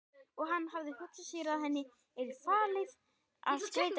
Og hann hafði hugsað sér að henni yrði falið að skreyta skólahúsið.